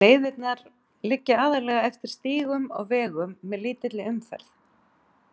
Leiðirnar liggja aðallega eftir stígum og vegum með lítilli umferð.